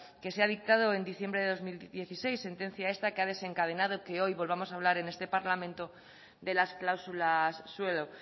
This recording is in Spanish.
que se ha dictado en diciembre de dos mil dieciséis sentencia esta que ha desencadenado que hoy volvamos en este parlamento de las cláusulas suelo